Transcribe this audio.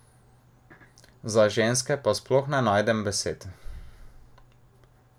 Za ženske pa sploh ne najdem besed!